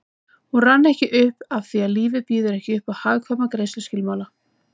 Hún rann ekki upp afþví lífið býður ekki uppá hagkvæma greiðsluskilmála